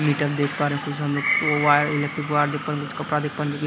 metre देख पा रहे हैं कुछ हम लोग वायर इलेक्ट्रिक वायर देख पा रहे हैं कुछ कपड़ा देख पा रहे हैं जोकि--